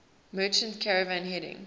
merchant caravan heading